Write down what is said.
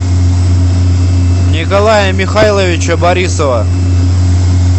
николая михайловича борисова